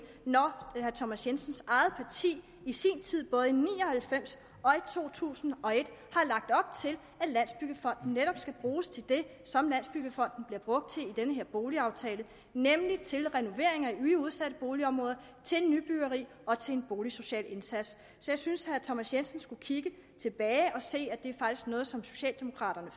når herre thomas jensens eget parti i sin tid både ni og halvfems og i to tusind og et har lagt op til at landsbyggefonden netop skal bruges til det som landsbyggefonden bliver brugt til i den her boligaftale nemlig til renoveringer i udsatte boligområder til nybyggeri og til en boligsocial indsats så jeg synes at herre thomas jensen skulle kigge tilbage og se at det faktisk er noget som socialdemokraterne